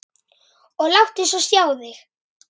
Og láttu svo sjá þig.